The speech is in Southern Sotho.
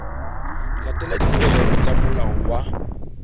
latela dipehelo tsa molao wa